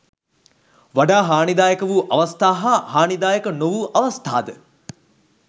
වඩා හානිදායක වූ අවස්ථා හා හානිදායක නොවූ අවස්ථාද